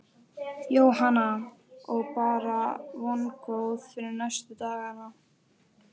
Jóhanna: Og bara vongóð fyrir næstu dagana?